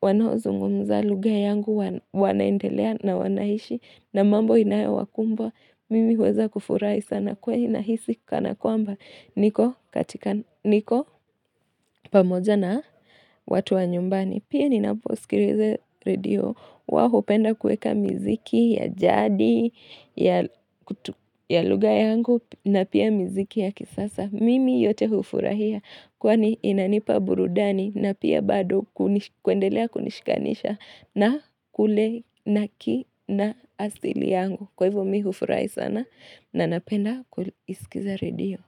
wanao zungumza lugha yangu wanaendelea na wanaishi na mambo inayo wakumbwa, mimi weza kufurai sana kwa inahisi kana kwamba niko katika niko pamoja na watu wa nyumbani. Pia ninaposikiruweze radio wa hupenda kueka mziki ya jadi ya lugha yangu na pia mziki ya kisasa. Mimi yote hufurahia kwani inanipa burudani na pia bado kuendelea kunishikanisha na kule na ki na asili yangu. Kwa hivo mi hufurahi sana na napenda kuisikiriza radio.